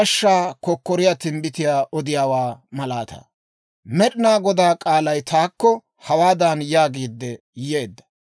Med'inaa Godaa k'aalay taakko hawaadan yaagiidde yeedda;